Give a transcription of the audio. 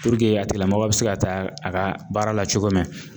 a tigila mɔgɔ bi se ka taa a ka baara la cogo min